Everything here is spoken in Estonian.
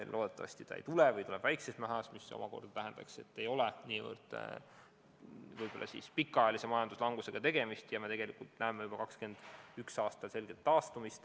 Loodetavasti seda ei tule või tuleb väikses mahus, mis tähendaks, et võib-olla ei ole tegemist pikaajalise majanduslangusega ja me näeme juba 2021. aastal selget taastumist.